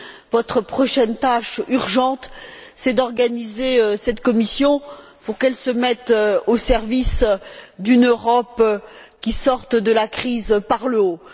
Votre prochaine tâche urgente, c'est d'organiser cette Commission pour qu'elle se mette au service d'une Europe qui sorte de la crise par le haut.